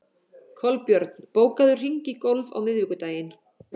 Kolbjörn, bókaðu hring í golf á miðvikudaginn.